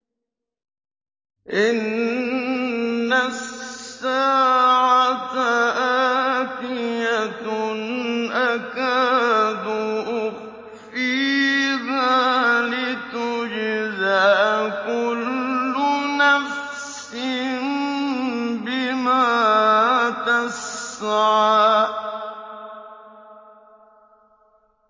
إِنَّ السَّاعَةَ آتِيَةٌ أَكَادُ أُخْفِيهَا لِتُجْزَىٰ كُلُّ نَفْسٍ بِمَا تَسْعَىٰ